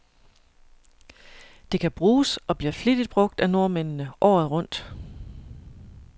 Det kan bruges, og bliver flittigt brug af nordmændene, året rundt.